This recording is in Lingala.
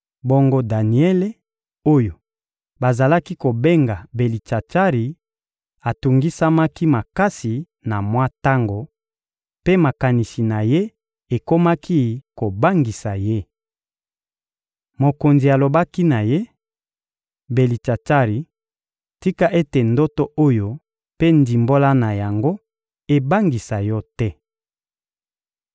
Bongo Daniele oyo bazalaki kobenga Belitsatsari atungisamaki makasi na mwa tango, mpe makanisi na ye ekomaki kobangisa ye. Mokonzi alobaki na ye: — Belitsatsari, tika ete ndoto oyo mpe ndimbola na yango ebangisa yo te!